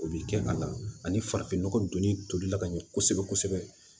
O bi kɛ a la ani farafinnɔgɔ donni tolila ka ɲɛ kosɛbɛ kosɛbɛ